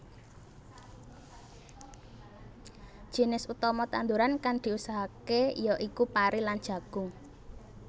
Jinis utama tanduran kan diusahakake ya iku pari lan jagung